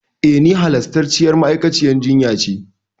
E, ni halastarciyar ma'aikaciyar jinya ce.